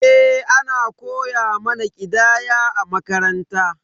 Eh, ana koya mana ƙidaya a makaranta.